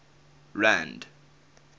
rand